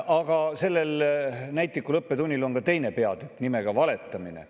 Aga sellel näitlikul õppetunnil on ka teine peatükk nimega valetamine.